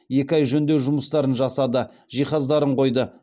екі ай жөндеу жұмыстарын жасады жиһаздарын қойды